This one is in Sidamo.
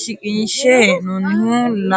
shiqqinshe hee'nonnihu laalcho.